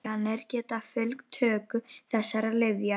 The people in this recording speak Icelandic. Ýmsar aukaverkanir geta fylgt töku þessara lyfja.